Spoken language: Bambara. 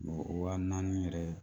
O wa naani yɛrɛ